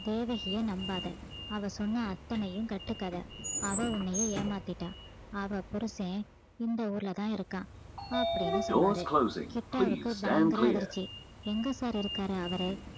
தேவகிய நம்பாத அவ சொன்ன அத்தனையும் கட்டுக்கதை அவ உன்னையே ஏமாத்திட்டா அவ புருசன் இந்த ஊர்ல தான் இருக்கான் அப்படீன்னு சொன்னாரு கிட்டாவுக்கு பயங்கர அதிர்ச்சி எங்க sir இருக்காரு அவரு